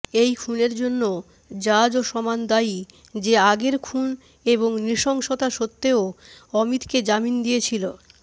এই খুনের জন্য জাজও সমান দায়ী যে আগের খুন এবং নৃশংষতা সত্যেও অমিতকে যামিন দিয়েছিল